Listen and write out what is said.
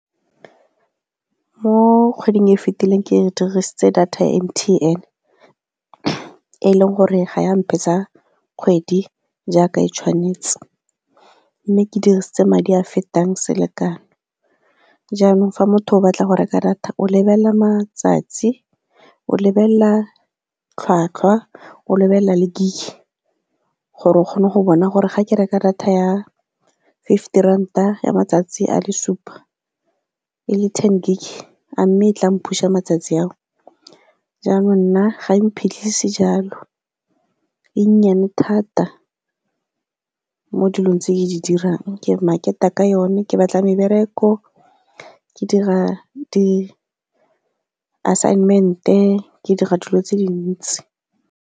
Mo kgweding e e fetileng ke dirisitse data M_T_N e e leng gore ga mphetsa kgwedi jaaka e tshwanetse, mme ke dirisitse madi a fetang selekano, jaanong fa motho o batla go reka data o lebelela matsatsi, o lebelela tlhwatlhwa, o lebelela le gig gore o kgone go bona gore ga ke reka data ya fifty ranta ya matsatsi a le supa e le ten gig, a mme e tla m-push-a matsatsi ao, jaanong nna ga iphetlhisi jalo, ee nnyane thata mo dilong tse di dirang. Ke market-a ka yone, ke batla mebereko, ke dira di assignment-e ke dira dilo tse dintsi.